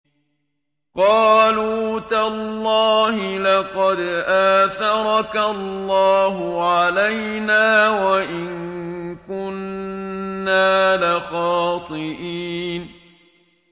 قَالُوا تَاللَّهِ لَقَدْ آثَرَكَ اللَّهُ عَلَيْنَا وَإِن كُنَّا لَخَاطِئِينَ